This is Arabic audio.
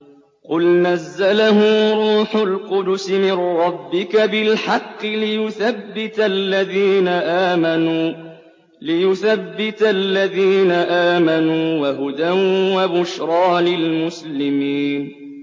قُلْ نَزَّلَهُ رُوحُ الْقُدُسِ مِن رَّبِّكَ بِالْحَقِّ لِيُثَبِّتَ الَّذِينَ آمَنُوا وَهُدًى وَبُشْرَىٰ لِلْمُسْلِمِينَ